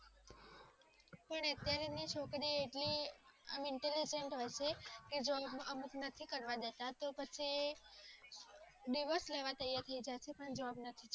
અને ત્યારે ની છોકરી. અમુક નથી કરવા દેતા તો પછી. દિવસ લેવા તૈયાર થઈ જશે. પણ જવાબ નથી.